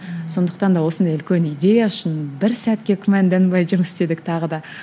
сондықтан да осындай үлкен идея үшін бір сәтке күмәнданбай жұмыс істедік тағы да